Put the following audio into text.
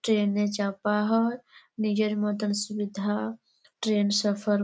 train -এ চাঁপা হয় নিজের মতন সুবিধা ট্রেন সফর --